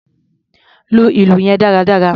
Lu ìlù yẹn dáradára!